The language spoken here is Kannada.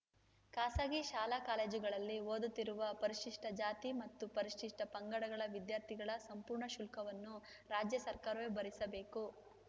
ಖಾಸಗಿ ಶಾಲಾ ಕಾಲೇಜುಗಳಲ್ಲಿ ಓದುತ್ತಿರುವ ಪರಿಶಿಷ್ಟ ಜಾತಿ ಮತ್ತು ಪರಿಶಿಷ್ಟ ಪಂಗಡಗಳ ವಿದ್ಯಾರ್ಥಿಗಳ ಸಂಪೂರ್ಣ ಶುಲ್ಕವನ್ನು ರಾಜ್ಯ ಸರ್ಕಾರವೇ ಭರಿಸಬೇಕು